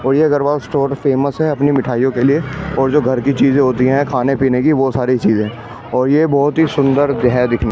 और ये Agarwal store famous है अपनी मिठाइयों के लिए और जो घर की चीजें होती हैं खाने पीने की वो सारी चीजें और ये बहुत ही सुंदर है दिखने में --